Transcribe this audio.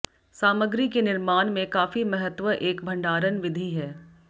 सामग्री के निर्माण में काफी महत्व एक भंडारण विधि है